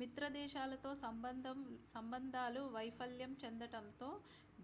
మిత్రదేశాలతో సంబంధాలు వైఫల్యం చెందటంతో